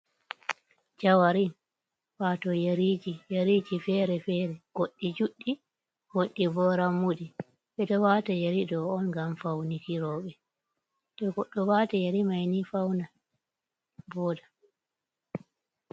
Jawarin wato yariji yariji fere fere goɗɗi juɗɗi goɗɗi ɓo rammuɗi, bedo wata yari ɗo on ngam faune robe to godɗo wata yari maibni fauna voda.